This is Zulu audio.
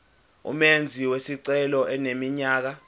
umenzi wesicelo eneminyaka